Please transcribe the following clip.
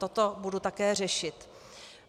Toto budu také řešit.